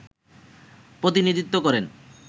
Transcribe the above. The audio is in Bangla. প্রতিনিধিত্ব করেন